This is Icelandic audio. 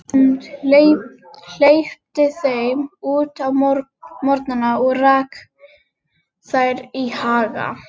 Hún hleypti þeim út á morgnana og rak þær í haga.